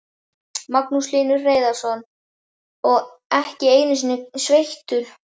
Magnús Hlynur Hreiðarsson: Og ekki einu sinni sveittur?